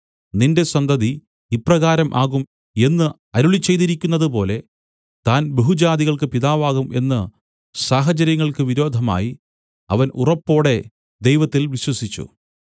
നിന്റെ സന്തതി ഇപ്രകാരം ആകും എന്ന് അരുളിച്ചെയ്തിരിക്കുന്നതുപോലെ താൻ ബഹുജാതികൾക്കു പിതാവാകും എന്ന് സഹചര്യങ്ങൾക്ക് വിരോധമായി അവൻ ഉറപ്പോടെ ദൈവത്തിൽ വിശ്വസിച്ചു